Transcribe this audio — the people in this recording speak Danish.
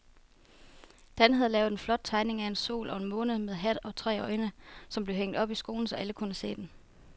Dan havde lavet en flot tegning af en sol og en måne med hat og tre øjne, som blev hængt op i skolen, så alle kunne se den.